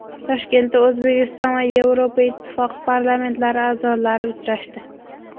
Toshkentda O‘zbekiston va Yevropa Ittifoqi parlamentlari a’zolari uchrashdi.